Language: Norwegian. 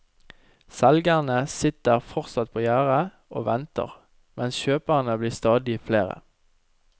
Selgerne sitter fortsatt på gjerdet og venter, mens kjøperne blir stadig flere.